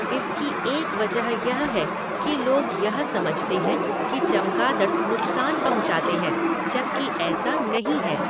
इसकी एक वजह यह है कि लोग यह समझते हैं कि चमगादड़ नुकसान पहुँचाते हैं, जबकि ऐसा नहीं है।